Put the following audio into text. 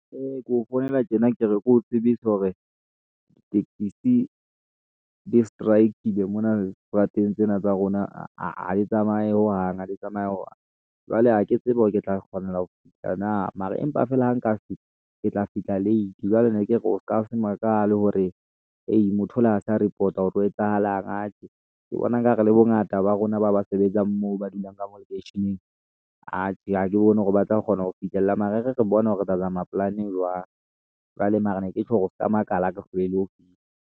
Ee, keo founela tjena ke re, ke o tsebisa hore ditekesi di strike-ile mona strateng sena sa rona ha di tsamaye hohang ha di tsamaye hohang jwale ha ke tsebe hore ke tla kgona ho fihla na mara empa feela ha nka fihla, ke tla fihla late, jwale ne ke re o ska se makale hore hei motho o le ha sa report-a ho re ho etsahalang atjhe ke bona ekare le bongata ba rona ba ba sebetsang moo ba dulang ka mo lekeisheneng. Atjhe ha ke bone hore ba tla kgona ho fihlella mare e re re bone hore re tla zama polane jwang. Jwale mara ne ke tjho hore o ska makala a ke hlolehile ho fihla.